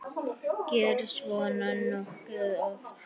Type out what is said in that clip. Gerist svona nokkuð oft?